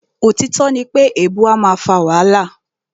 Òtítọ́ ní pé èèbu a máà fà wàhálà.